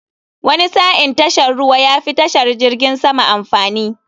Wani sa'in tashar ruwa yafi tashar jirgin sama amfani.